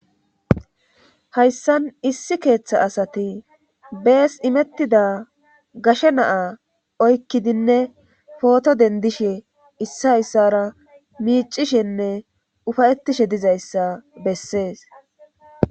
hayssan issi keeththa asati bees imettida gashe naa oykkidinne pooto dendishe issa issara miicishenne ufayettishe dizayssa bessees